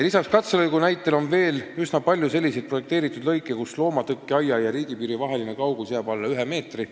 Praegu on veel üsna palju selliseid projekteeritud lõike, kus loomatõkkeaia ja riigipiiri vaheline kaugus jääb alla 1 meetri.